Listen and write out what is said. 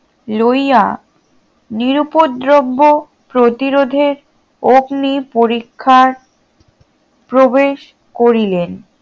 লইয়া নিরুপদ্রব্য প্রতিরোধের অগ্নিপরীক্ষার প্রবেশ করিলেন